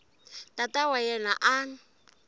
tata wa yena a n